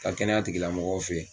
Ka kɛnɛya tigilamɔgɔw fɛ